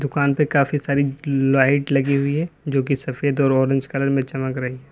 दुकान पे काफी सारी लाइट लगी हुई है जो की सफेद और ऑरेंज कलर में चमक रही है।